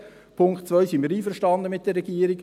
Beim Punkt 2 sind wir einverstanden mit der Regierung.